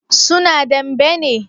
su na dambe ne?